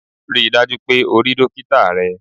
Rí i dájú o pé o rí dókítá rẹ!